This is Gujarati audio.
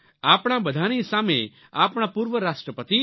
આપણા બધાની સામે આપણા પૂર્વ રાષ્ટ્રપતિ ડો